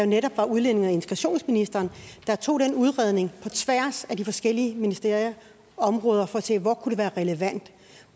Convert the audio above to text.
netop var udlændinge og integrationsministeren der tog den udredning på tværs af de forskellige ministerier og områder for at se hvor det kunne være relevant